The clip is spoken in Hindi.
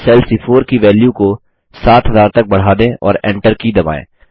अब सेल सी4 की वैल्यू की 7000 तक बढ़ा दें और Enter की दबाएँ